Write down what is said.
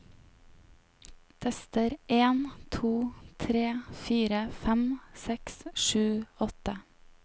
Tester en to tre fire fem seks sju åtte